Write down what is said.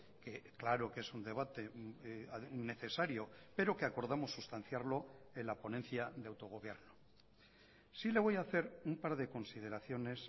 que claro que es un debate necesario pero que acordamos sustanciarlo en la ponencia de autogobierno sí le voy a hacer un par de consideraciones